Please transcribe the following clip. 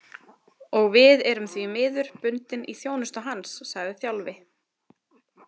Og við erum því miður bundin í þjónustu hans, sagði Þjálfi.